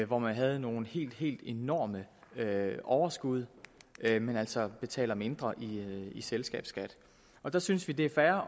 hvor man havde nogle helt helt enorme overskud men altså betalte mindre i selskabsskat der synes vi det er fair